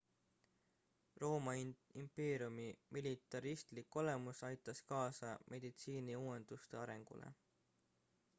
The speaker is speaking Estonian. rooma impeeriumi militaristlik olemus aitas kaasa meditsiiniuuenduste arengule